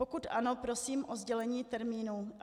Pokud ano, prosím o sdělení termínu.